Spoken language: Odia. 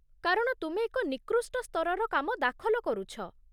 କାରଣ ତୁମେ ଏକ ନିକୃଷ୍ଟ ସ୍ତରର କାମ ଦାଖଲ କରୁଛ।